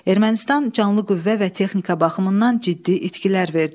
Ermənistan canlı qüvvə və texnika baxımından ciddi itkilər verdi.